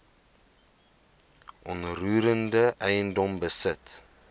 onroerende eiendom besit